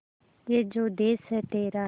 ये जो देस है तेरा